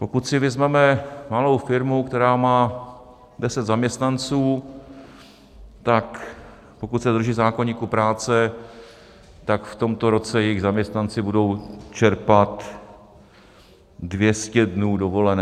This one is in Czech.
Pokud si vezmeme malou firmu, která má 10 zaměstnanců, tak pokud se drží zákoníku práce, tak v tomto roce jejich zaměstnanci budou čerpat 200 dnů dovolené.